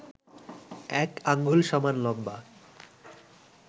১ আঙুল সমান লম্বা